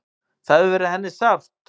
Það hefur verið henni sárt.